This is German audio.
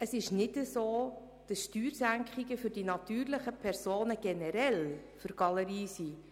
Es ist nicht so, dass Steuersenkungen für die natürlichen Personen generell für die Galerie sind.